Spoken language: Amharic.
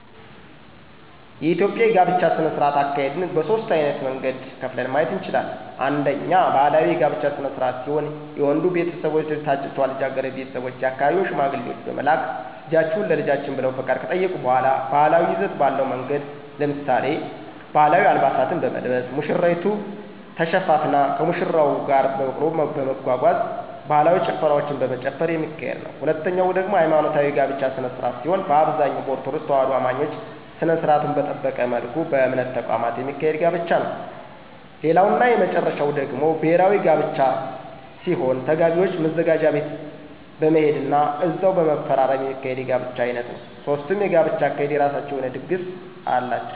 የኢትዮጵያ የጋብቻ ስነ-ስርዓት አካሄድን በሦስት ዓይነት መንገድ ከፍለን ማየት እንችላለን። አንደኛ ባህላዊ የጋብቻ ስነ-ስርዓት ሲሆን የወንዱ ቤተሰቦች ወደ ታጨችዋ ልጃገረድ ቤተሰቦች የአካባቢውን ሽማግሌዎች በመላክ ልጃችሁን ለልጃችን ብለው ፈቃድ ከጠየቁ በሗላ ባህላዊ ይዘት ባለው መንገድ ለምሳሌ፦ ባህላዊ አልባሳትን በመልበስ፣ ሙሽሪት ተሸፋፍና ከሙሽራው ጋር በበቅሎ በመጓጓዝ፣ ባህላዊ ጭፈራዎችን በመጨፈር የሚካሄድ ነዉ። ሁለተኛው ደግሞ ሀይማኖታዊ የጋብቻ ስነ-ስርዓት ሲሆን በአብዛኛው በኦርቶዶክስ ተዋህዶ አማኞች ስነ-ስርዓቱን በጠበቀ መልኩ በእምነት ተቋማት የሚካሄድ ጋብቻ ነዉ። ሌላው እና የመጨረሻው ደግሞ ብሔራዊ ጋብቻ ሲሆን ተጋቢዎች ማዘጋጃ ቤት በመሄድ ና እዛው በመፈራረም የሚካሄድ የጋብቻ ዓይነት ነዉ። ሦስቱም የጋብቻ አካሄዶች የራሳቸው የሆነ ድግስ ያዘጋጃሉ።